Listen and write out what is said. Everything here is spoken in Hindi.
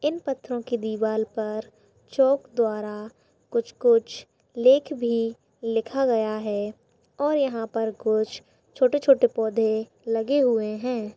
इन पत्थरों की दिवाल पर चोक द्वारा कुछ-कुछ लेख भी लिखा गया है। और यहाँ पर कुछ छोटे-छोटे पौधे लगे हुए हैं।